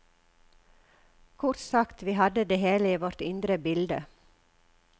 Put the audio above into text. Kort sagt, vi hadde det hele i vårt indre bilde.